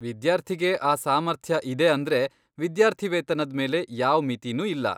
ವಿದ್ಯಾರ್ಥಿಗೆ ಆ ಸಾಮರ್ಥ್ಯ ಇದೆ ಅಂದ್ರೆ ವಿದ್ಯಾರ್ಥಿವೇತನದ್ ಮೇಲೆ ಯಾವ್ ಮಿತಿನೂ ಇಲ್ಲ.